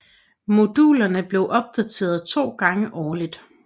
Modulerne blev opdateret to gange årligt